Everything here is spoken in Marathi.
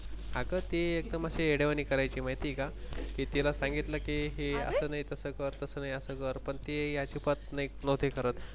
अगं ती एकदम येडया वाणी करायची माहिती आहे का. तिला सांगितल की ये अस नाही तस कर तस नाही अस कर पण ती अजिबात नव्हती करत.